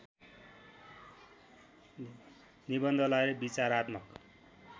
निबन्धलाई विचारात्मक